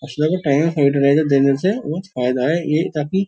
हाईडोराइजर देने से बहोत फायदा है ये काफी --